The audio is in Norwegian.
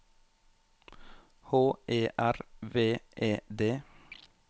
H E R V E D